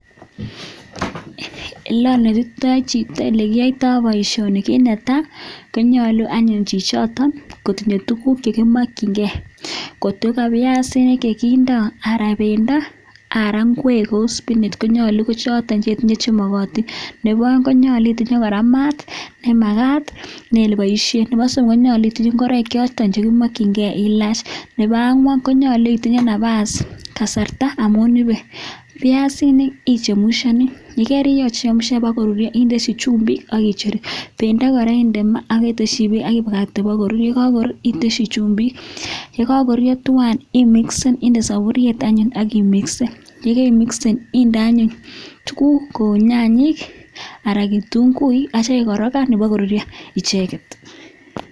Oleonetitoi chito ole kiyoito boisioni, kit ne tai konyolu anyun chichoto kotinye tuguk che kimokinge. Kotko ka biasinik che kindo anan bendo ana ngwek kou spinach konyolu kochoto che tinye che mogotin. Nebo oeng konyolu itinye kora maat nemagat en ele iboishen. Nebo somok konyolu itinye ngoroik choto ch eiboisien che kimokinge ilach. Nebo angwan konyolu itinye nafas; kasarta amun ibe. Biasinik ichemushani yekerichemushan bago ruryo inde chumbik ak icheru. Bendo kora inde maa ak itesyi beek ak ibakakte korur. Ye kagorur itesyi chumbik. Ye kagoruryo twan imixen inde soburiet anyun ak imixen. Ye kaimixen inde anyun tuguk kou nyanyik anan ketunguik ak kityo ikorokan ibokoruryo icheget.